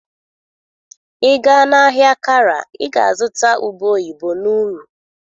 Ị gaa na-ahịa Kara ị ga-azụta ube oyibo n'uru.